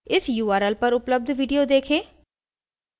इस url पर उपलब्ध video देखें